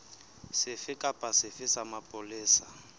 sefe kapa sefe sa mapolesa